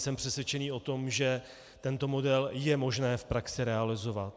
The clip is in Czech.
Jsem přesvědčen o tom, že tento model je možné v praxi realizovat.